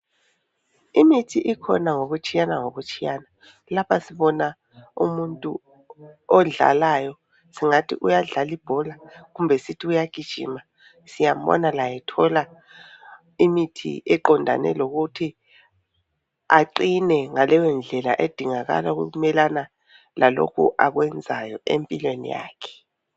Imithi ikhona ngokutshiyana ngokutshiyana. Lapha sibona umuntu odlalayo, singathi uyadlala ibhola kumbe sithi uyagijima. Siyambona laye ethola imithi eqondane lokuthi aqine ngaleyo ndlela edingakala ukumelana lalokhu akwenzayo empilweni yakhe.